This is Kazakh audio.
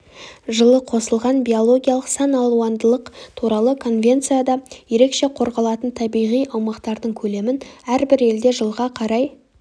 жылы қосылған биологиялық саналуандылық туралы конвенцияда ерекше қорғалатын табиғи аумақтардың көлемін әрбір елде жылға қарай